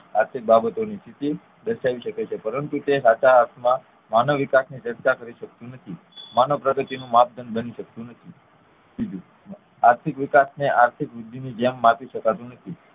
આથી બાબતો ની સ્થિતિ દર્શાવી શાકે છે પરંતુ તે સાચા અર્થ માં માનવવિકાસ ની ચર્ચા કરી શકતું નથી માનવપ્રગતિ નું માપદંડ બની શકતું નથી બીજું આર્થિક વિકાસને આર્થિક વૃદ્ધિ ની જેમ માપી શકાતું નથી